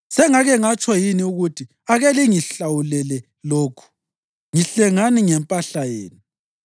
Sengake ngatsho yini ukuthi, ‘Ake lingihlawulele lokhu, ngihlengani ngempahla yenu,